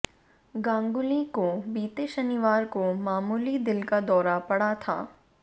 गांगुली को बीते शनिवार को मामूली दिल का दौरा पड़ा था